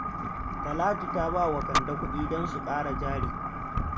Talatu ta ba wa Kande kuɗi don su ƙara jari